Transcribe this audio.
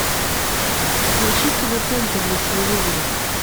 поищи тв центр на телевизоре